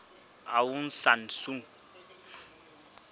aung san suu